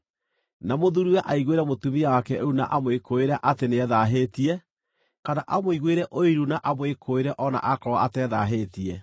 na mũthuuriwe aiguĩre mũtumia wake ũiru na amwĩkũũĩre atĩ nĩethaahĩtie, kana amũiguĩre ũiru na amwĩkũũĩre o na akorwo atethaahĩtie,